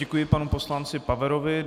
Děkuji panu poslanci Paverovi.